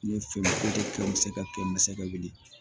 Ne ye fɛn muso ka kɛ masa ka wili ye